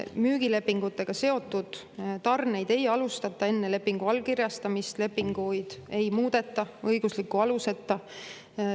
Müügilepingutega seotud tarneid ei alustata enne lepingu allkirjastamist, lepinguid ei muudeta õigusliku aluseta.